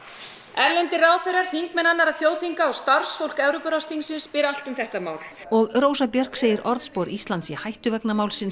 erlendir ráðherrar þingmenn annarra þjóðþinga og starfsfólk Evrópuráðsþingsins spyr allt um þetta mál og Rósa Björk segir orðspor Íslands í hættu vegna málsins